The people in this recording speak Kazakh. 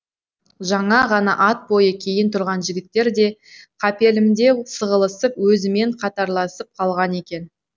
жаңа ғана ат бойы кейін тұрған жігіттер де қапелімде сығылысып өзімен қатарласып қалған екен